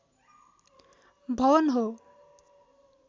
भवन हो